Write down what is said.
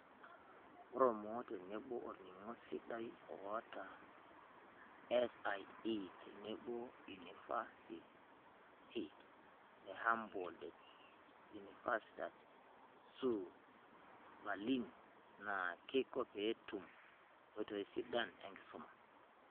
Ore olmoo tenebo olning'o sidai oota SlE tenebo oo unifasiti e Humboldt-Universitat zu Berlin naa keiko pee etum nkoitoi sidain enkisuma.